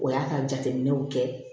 O y'a ka jateminɛw kɛ